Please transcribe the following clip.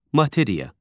Materiya.